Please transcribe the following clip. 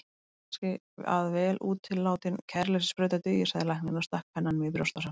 Kannski að vel útilátin kæruleysissprauta dugi, sagði læknirinn og stakk pennanum í brjóstvasann.